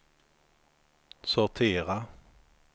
sortera